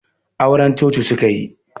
Auren coci suka yi